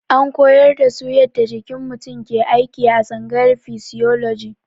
An koyar da su yadda jikin mutum ke aiki a tsangayar fisioloji.